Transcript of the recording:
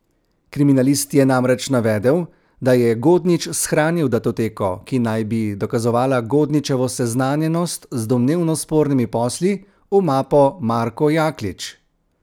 Kriminalist je namreč navedel, da je Godnič shranil datoteko, ki naj bi dokazovala Godničevo seznanjenost z domnevno spornimi posli, v mapo Marko Jaklič.